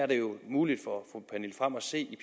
det er jo muligt for at se